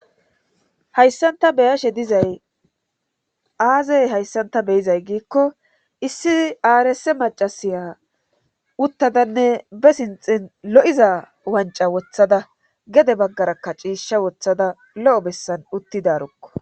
hayssan ta beyashe dizay aaze hayssanta beyizay giikko issi aarse macasiya uttadanne be sinxin lo7iza wanca wothada gede baggarakka ciisha wothada lo7o bessan uttidarukko